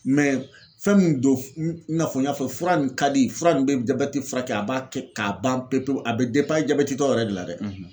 fɛn min don, i n'a fɔ n y'a fɔ, fura nin ka di, fura nin bɛ jabɛti furakɛ, a b'a kɛ k'a ban pewu, a bɛ banabatɔ yɛrɛ de la dɛ.